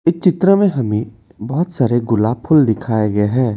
ये चित्र में हमें बहोत सारे गुलाब फूल दिखाये गये है।